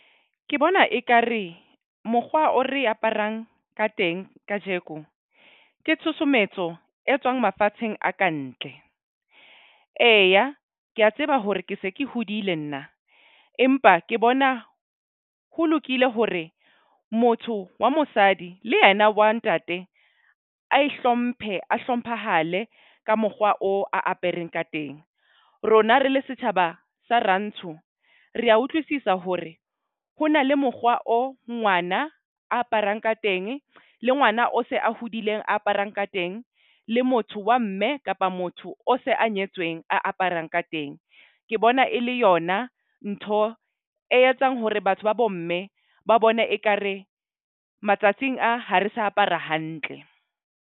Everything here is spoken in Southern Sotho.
Ke bona ekare mokgwa o re aparang ka teng kajeko ke tshusumetso e tswang mafatsheng a kantle. Eya, ke a tseba hore ke se ke hodile nna. Empa ke bona ho lokile hore motho wa mosadi le yena wa ntate a ihlomphe, a hlomphahale ka mokgwa oo a apereng ka teng. Rona re le setjhaba sa rantsho re a utlwisisa hore ho na le mokgwa o ngwana a aparang ka teng le ngwana o se a hodileng aparang ka teng, le motho wa mme kapa motho o se a nyetsweng a aparang ka teng. Ke bona e le yona ntho e etsang hore batho ba bo mme ba bone ekare matsatsing a ha re sa apara hantle.